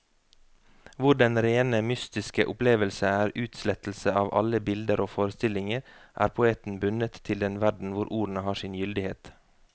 Hvor den rene mystiske opplevelse er utslettelse av alle bilder og forestillinger, er poeten bundet til den verden hvor ordene har sin gyldighet.